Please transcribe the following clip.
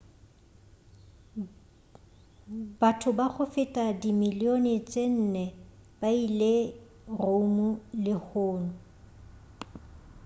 batho ba go feta ba dimillione tše nne ba ile rome lehung